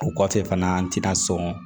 O kɔfɛ fana an tɛna sɔn